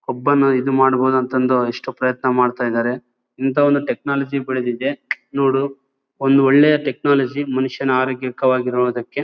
ಒಬ್ಬನ ಇದು ಮಾಡ್ಬಹುದು ಅಂತ ಅಂದು ಎಷ್ಟೋ ಪ್ರಯತ್ನ ಮಾಡ್ತಾಯಿದಾರೆ ಇಂಥ ಒಂದು ಟೆಕ್ನಾಲಜಿ ಬೆಳೆದಿದ್ದೆ ನೋಡು ಒಂದು ಒಳ್ಳೆಯ ಟೆಕ್ನಾಲಜಿ ಮನುಷ್ಯನು ಆರೋಗ್ಯಕರ ಆಗಿ ಇರುವುದಕ್ಕೆ--